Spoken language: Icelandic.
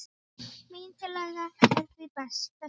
Mín tillaga er því þessi